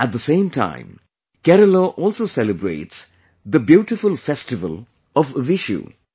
At the same time, Kerala also celebrates the beautiful festival of Vishu